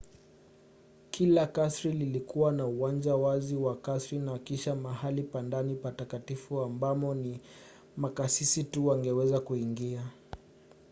kila kasri lilikuwa na uwanja wazi wa kasri na kisha mahali pa ndani patakatifu ambamo ni makasisi tu wangeweza kuingia